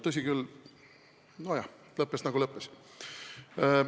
Tõsi küll, see lõppes, nagu ta lõppes.